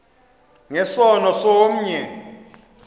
nge sono somnye